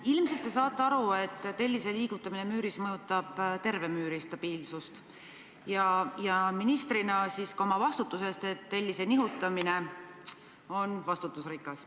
Ilmselt te saate aru, et tellise liigutamine müüris mõjutab terve müüri stabiilsust, ja ministrina ka oma vastutusest, et tellise nihutamine on vastutusrikas.